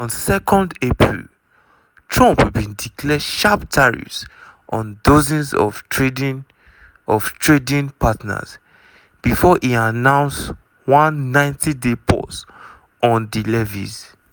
on 2 april trump bin declare sharp tariffs on dozens of trading of trading partners bifor e announce one 90-day pause on di levies.